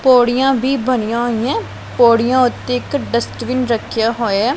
ਪੌੜੀਆਂ ਵੀ ਬਣੀਆਂ ਹੋਈਆਂ ਪੌੜੀਆਂ ਉੱਤੇ ਇੱਕ ਡਸਟਵਿਨ ਰੱਖਿਆ ਹੋਇਆ।